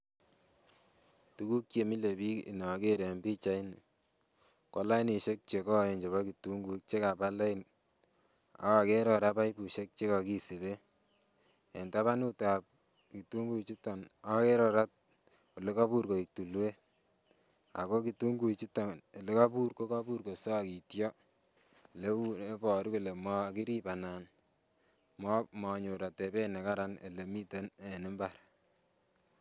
Tukuk chemile bik inoker en pichaini kolai nishwek chekoen chebo kitunguik chekaba lain, ak okere koraa baibuishek chekosiben en tabanut ab kitunguuik chutok okere koraa ole koibur koik tulwet ako kitunguik chutok ole koibur ko koibur kosokityoo leu ne iboruu kole mokirib anan monyor otebet nekararan ole miten en imbar.